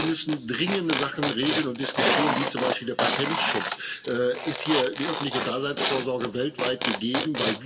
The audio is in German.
Wir müssen dringende Sachen regeln und diskutieren wie zum Beispiel den Patentschutz. Ist hier die öffentliche Daseinsvorsorge weltweit gegeben?